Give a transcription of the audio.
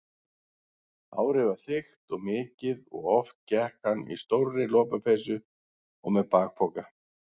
Hárið var þykkt og mikið og oft gekk hann í stórri lopapeysu og með bakpoka.